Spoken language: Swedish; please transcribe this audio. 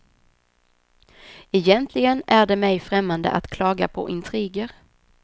Egentligen är det mig främmande att klaga på intriger.